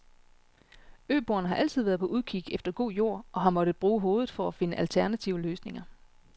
Øboerne har altid været på udkig efter god jord og har måttet bruge hovedet for at finde alternative løsninger.